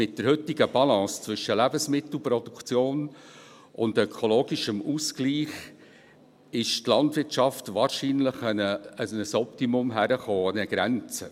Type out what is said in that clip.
Mit der heutigen Balance zwischen Lebensmittelproduktion und ökologischem Ausgleich ist die Landwirtschaft wahrscheinlich an ein Optimum, eine Grenze gekommen.